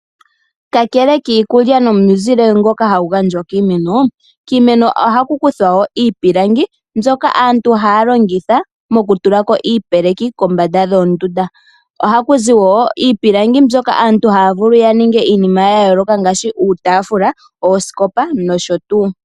Kakele kiikulya nomuzele ngoka hagu gandjwa kiimeno, kiimeno oha ku kuthwa wo iipilangi mbyoka aantu haa longitha moku tulako iipeleki kombanda dhoo ndunda, oha kuzi wo iipilangi mbyoka aantu haa vulu yaninge iinima yayooloka ngaashi uutaafula oosikopa nosho tuu.